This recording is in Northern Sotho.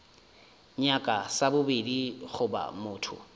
nyaka sa bobedi goba motho